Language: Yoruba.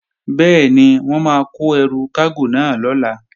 Bẹ́ẹ̀ni, wọ́n máa kó ẹrù kágò náà lọ̀la